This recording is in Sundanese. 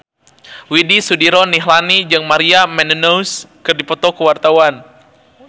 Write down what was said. Widy Soediro Nichlany jeung Maria Menounos keur dipoto ku wartawan